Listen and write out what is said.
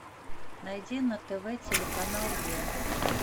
найди на тв телеканал е